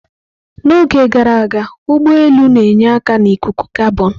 N'oge gara aga, ụgbọ elu na-enye aka na ikuku kabọn.